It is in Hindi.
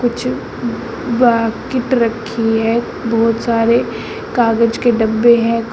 कुछ बाकीट रखी है बहुत सारे कागज के डब्बे हैं।